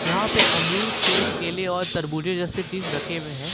यहां पे अमरूद सेब केले और तरबुजे जैसे चीज रखे हुए है।